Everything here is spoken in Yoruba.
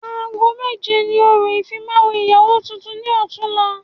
Aago méje ni orò ìfimawo ìyàwó tuntun ni ọtún la